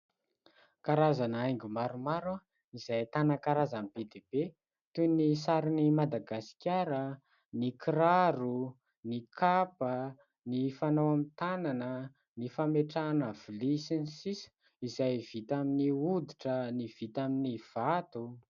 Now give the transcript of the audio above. Karazana haingo maromaro, izay ahitana karazany be dia be. Toy : ny sarin'i Madagasikara, ny kiraro, ny kapa, ny fanao amin'ny tanana, ny fametrahana vilia ... Izay vita amin'ny hoditra, ny vita amin'ny vato.